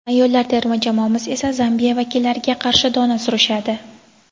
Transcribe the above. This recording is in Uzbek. ayollar terma jamoamiz esa Zambiya vakillariga qarshi dona surishadi.